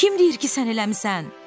Kim deyir ki, sən eləmisən?